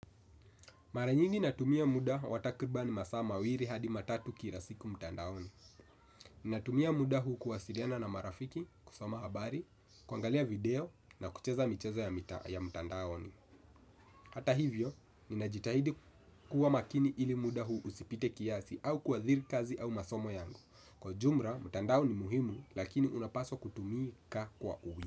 Mara nyingi natumia muda wa takribani masaa mawili hadi matatu kila siku mtandaoni. Ninatumia muda huu kuwasiliana na marafiki, kusoma habari, kuangalia video na kucheza michezo ya mtandaoni. Hata hivyo, ninajitahidi kuwa makini ili muda huu usipite kiasi au kuathiri kazi au masomo yangu. Kwa jumla, mtandao ni muhimu, lakini unapaswa kutumika kwa uwi.